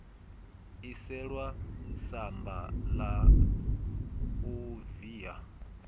iselwa samba la u via